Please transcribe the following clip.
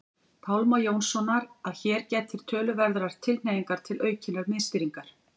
Pálma Jónssonar að hér gætir töluverðrar tilhneigingar til aukinnar miðstýringar.